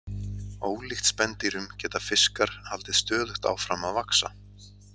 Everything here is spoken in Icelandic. Ólíkt spendýrum geta fiskar haldið stöðugt áfram að vaxa.